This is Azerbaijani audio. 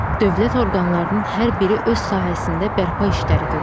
Dövlət orqanlarının hər biri öz sahəsində bərpa işləri görür.